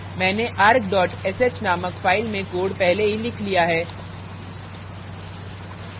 मैंने arg sh named file में code पहले ही लिख लिया है